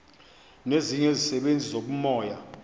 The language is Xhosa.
nezinye izisebenzi zobumoya